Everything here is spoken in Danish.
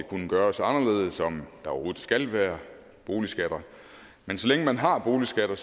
kunne gøres anderledes og om der overhovedet skal være boligskatter men så længe man har boligskatter